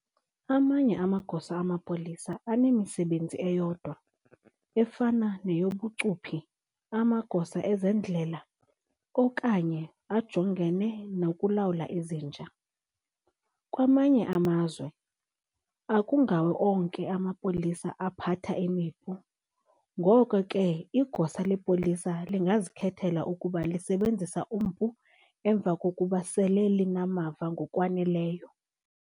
Amanye amagosa amapolisa anemisebenzi eyodwa, efana neyobucuphi, amagosa ezendlela, okanye ajongene nokulawula izinja. Kwamanye amazwe, akungawo onke amapolisa aphatha imipu, ngoko ke igosa lepolisa lingazikhethela ukuba lisebenzise umpu emva kokuba sele linamava ngokwaneleyo.